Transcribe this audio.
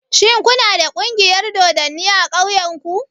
Shin ku na da ƙungiyar dodanni a ƙauyen ku?